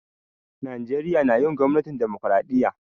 Najeriya na yin gwamnatin dimokiradiyya.